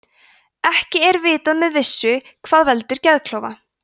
ekki er vitað með vissu hvað veldur geðklofa